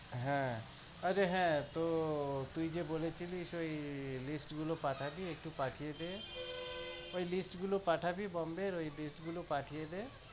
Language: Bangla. হ্যাঁ আরে হ্যাঁ তো তুই যে বলেছিলি ওই list গুলো পাঠাবি? একটু পাঠিয়ে দে, ওই list গুলো পাঠাবি Mumbai এর ওই list গুলো পাঠিয়ে দে।